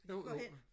jo jo